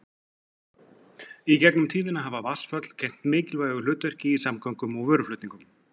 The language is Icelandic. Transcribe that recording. Í gegnum tíðina hafa vatnsföll gegnt mikilvægu hlutverki í samgöngum og vöruflutningum.